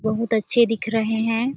बहुत अच्छे दिख रहे है ।